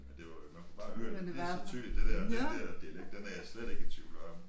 Men det var jo man kunne bare høre det pisse tydeligt det dér den der dialekt den er jeg slet ikke i tvivl om